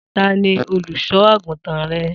Ta ni olùṣọ́ àgùntàn rẹ?